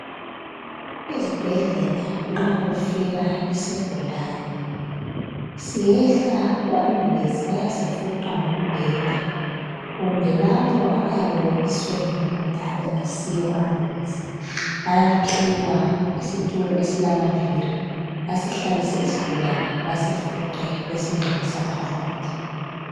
Ezibhedlela nxa kufika isigulane, siyehla kuambulesi, bayasifuqa ngombheda. Kumbe labo abayabe bebiswe yimota engasiyo ambulensi bayaphiwa isitulo esilamaviri. Basihlalise isigulane, basifuqe. Besingenisa phakathi.